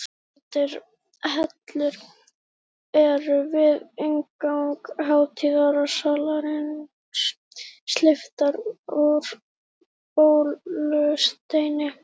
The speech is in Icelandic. Rauðleitar hellur eru við inngang hátíðasalarins, steyptar úr baulusteini.